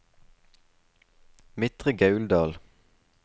Midtre Gauldal